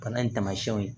Bana in tamasiyɛnw ye